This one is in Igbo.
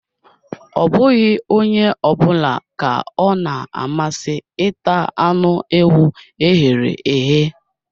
Ọ bụghị onye ọ bụla ka ọ na amasị ịta anụ ewu e ghere eghe